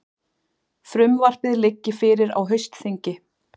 Frumvarpið liggi fyrir á haustþingi